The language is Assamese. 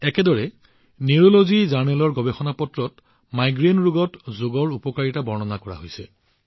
একেদৰে মাইগ্ৰেইনৰ পেপাৰ অব্ নিউৰোলজী জাৰ্নেলত যোগৰ লাভালাভবোৰ বৰ্ণনা কৰা হৈছে